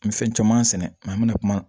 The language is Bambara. N bɛ fɛn caman sɛnɛ an bɛna kuma